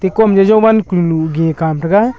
ekoam jo jowan kulunu gey kam taiga.